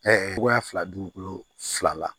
togoya fila dugukolo fila la